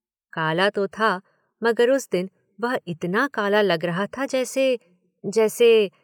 काला तो था मगर उस दिन वह इतना काला लग रहा था, जैसे, जैसे